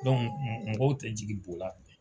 Don mɔgɔw tɛ jigi